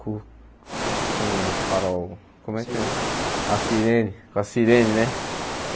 com com o farol, como é que Sirene A sirene com a sirene né.